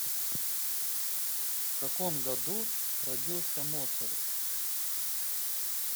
в каком году родился моцарт